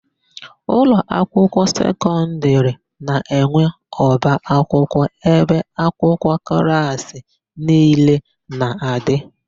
Ụlọakwụkwọ sekọndịrị na-enwe ọbaakwụkwọ ebe akwụkwọ klaasị niile na-adị.